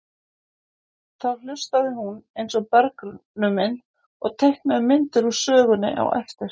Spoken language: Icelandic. Þá hlustaði hún eins og bergnumin og teiknaði myndir úr sögunni á eftir.